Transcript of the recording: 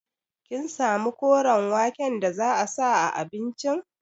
Kin samu koren waken da za a sa a abincin?